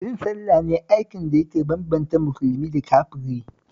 Yin sallah ne aikin da yake bambanta musulmi da kafiri